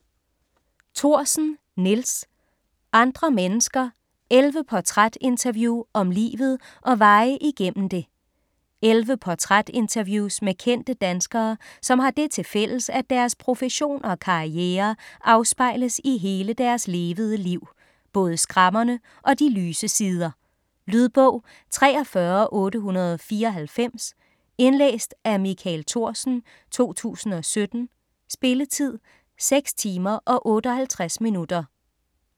Thorsen, Nils: Andre mennesker: 11 portrætinterview om livet og veje igennem det 11 portrætinterviews med kendte danskere som har det til fælles at deres profession og karriere afspejles i hele deres levede liv, både skrammerne og de lyse sider. Lydbog 43894 Indlæst af Michael Thorsen, 2017. Spilletid: 6 timer, 58 minutter.